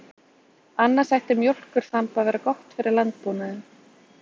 Annars ætti mjólkurþamb að vera gott fyrir landbúnaðinn.